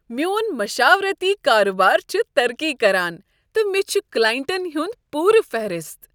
میون مشاورتی کارٕبار چھ ترقی کران، تہٕ مےٚ چھ کلاینٹن ہُند پُورٕ فہرست۔